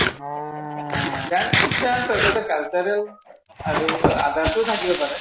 dance সেইটো cultural আৰু other ও থাকিব পাৰে ।